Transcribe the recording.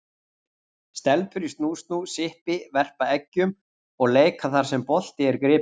Stelpur í snú-snú, sippi, verpa eggjum og leikjum þar sem bolti er gripinn.